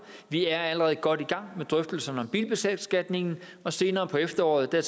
vi er allerede godt i gang med drøftelserne om bilbeskatningen og senere på efteråret tager